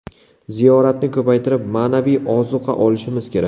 Ziyoratni ko‘paytirib, ma’naviy ozuqa olishimiz kerak.